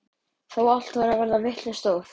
Þó allt væri að verða vitlaust stóð